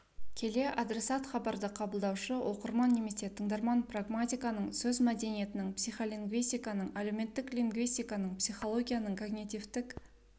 келе адресат хабарды қабылдаушы оқырман немесе тыңдарман прагматиканың сөз мәдениетінің психолингвистиканың әлеуметтік лингвистиканың психологияның когнитивтік